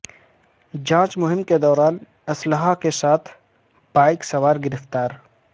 جانچ مہم کے دوران اسلحہ کیساتھ بائیک سوار گرفتار